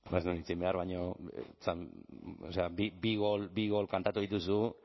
ez nuen hitz egin behar baina bi gol kantatu dituzu